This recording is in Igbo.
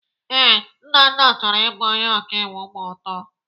Ee, Nnanna chọrọ ịbụ onye ọkaiwu ma ọ too.